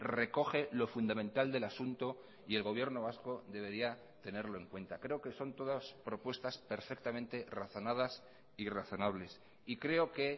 recoge lo fundamental del asunto y el gobierno vasco debería tenerlo en cuenta creo que son todas propuestas perfectamente razonadas y razonables y creo que